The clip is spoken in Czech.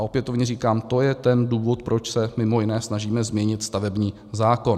A opětovně říkám, to je ten důvod, proč se, mimo jiné, snažíme změnit stavební zákon.